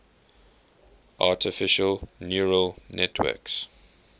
artificial neural networks